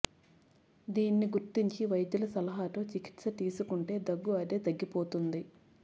దీన్ని గుర్తించి వైద్యుల సలహాతో చికిత్స తీసుకుంటే దగ్గు అదే తగ్గిపోతుంది